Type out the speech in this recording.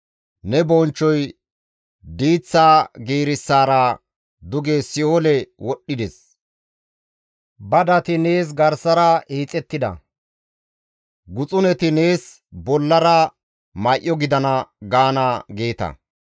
Ne bonchchoy diiththaa giirissara duge si7oole wodhdhides; badati nees garsara hiixettida; guxuneti nees bollara may7o gidana› gaana» geeta.